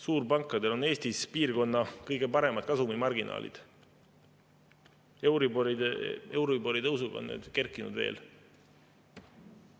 Suurpankadel on Eestis piirkonna kõige paremad kasumimarginaalid, euribori tõusuga on need kerkinud veel.